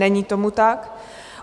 Není tomu tak.